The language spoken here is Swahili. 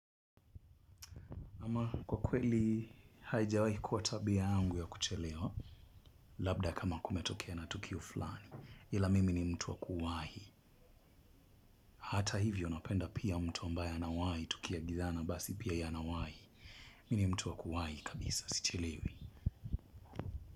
Kwa kweli haijawahi kuwa tabia yangu ya kuchelewa labda kama kumetokea na tukio fulani ila mimi ni mtu wa kuwahi hata hivyo napenda pia mtu ambaye anawahi tukiagizana basi pia yeye anawahi mimi ni mtu wa kuwahi kabisa sichelewi.